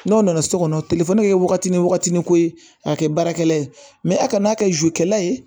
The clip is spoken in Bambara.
N'o nana so kɔnɔ telefɔni bɛ kɛ waatini wagatinin ko ye k'a kɛ baarakɛla ye a kan'a kɛ zukɛla ye